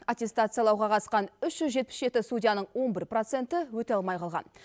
аттестациялауға қатысқан үш жүз жетпіс жеті судьяның он бір проценті өте алмай қалған